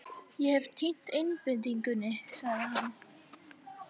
Ég hef týnt einbeitingunni, sagði hann.